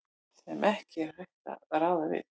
sem ekki er hægt að ráða við.